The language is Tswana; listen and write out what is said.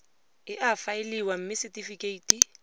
e a faeliwa mme setefikeiti